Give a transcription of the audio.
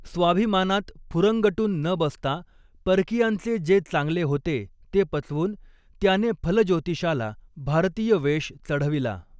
स्वाभिमानांत फुरंगटून न बसतां परकियांचे जे चांगले होते ते पचवून त्यानें फलज्योतिषाला भारतीय वेष चढविला.